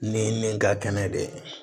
Ni nin ka kɛnɛ de ye